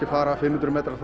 að fara fimm hundruð metra